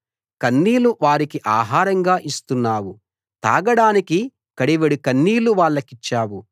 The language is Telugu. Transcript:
కన్నీళ్లు వారికి ఆహారంగా ఇస్తున్నావు తాగడానికి కడివెడు కన్నీళ్లు వాళ్లకిచ్చావు